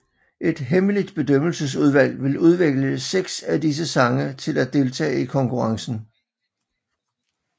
Et hemmeligt bedømmelsesudvalg vil udvælge seks af disse sange til at deltage i konkurrencen